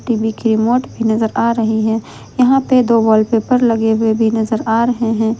एक रिमोट भी नजर आ रही है यहां पर दो वॉलपेपर लगे हुए भी नजर आ रहे हैं।